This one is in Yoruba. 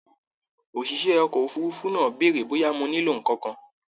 ÒṢìṣẹ́ ọkọ̀ òfurufú náà bèèrè bóyá mo nílò nǹkan kan